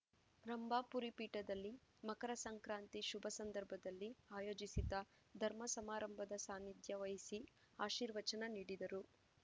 ರಂಭಾಪುರಿ ಪೀಠದಲ್ಲಿ ಮಕರ ಸಂಕ್ರಾಂತಿ ಶುಭ ಸಂದರ್ಭದಲ್ಲಿ ಆಯೋಜಿಸಿದ್ದ ಧರ್ಮ ಸಮಾರಂಭದ ಸಾನ್ನಿಧ್ಯ ವಹಿಸಿ ಆಶೀರ್ವಚನ ನೀಡಿದರು